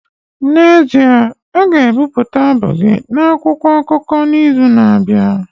N'ezie, a ga-ebipụta abụ gị n'akwụkwọ akụkọ n'izu na-abịa